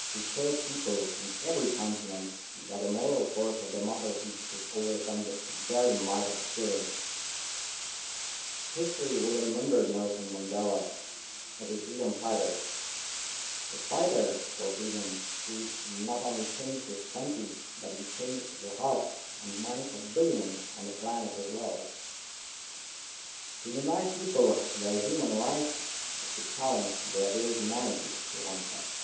he showed people in every continent that the moral force of democracy could overcome the barren might of tyranny'. History will remember Nelson Mandela as a freedom fighter, a fighter for freedom who not only changed his country, but he changed the hearts and minds of billions on the planet as well. ʻTo deny people their human rights is to challenge their very humanityʼ, he once said.